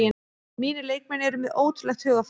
Mínir leikmenn eru með ótrúlegt hugarfar